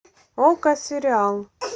окко сериал